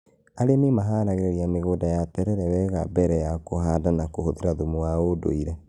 Arĩmi maharagĩrĩria mĩgũnda ya terere wega mbere ya kũhanda na kũhũthĩra thumu wa ũndũire